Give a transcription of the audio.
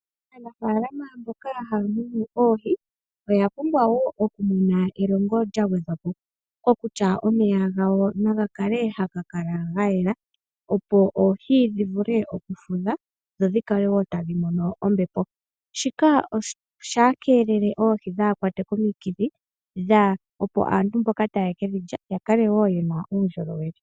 Aanafaalama mboka haya munu oohi, oya pumbwa wo okumona elongo lya gwedhwa po. Kokutya omeya gawo naga kale haga kala ga yela, opo oohi dhi vule okufudha, dho dhi kale wo tadhi mono ombepo. Shika oshi keelele oohi dhaa kwatwe komikithi, opo aantu mboka taye ke dhi lya ya kale wo ye na uundjolowele.